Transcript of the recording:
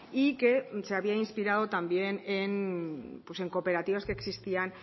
y que se había inspirado también en cooperativas que existían